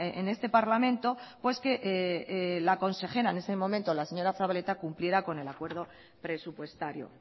en este parlamento pues que la consejera en ese momento la señora zabaleta cumpliera con el acuerdo presupuestario